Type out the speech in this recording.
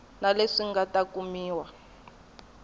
na leswi nga ta kumiwa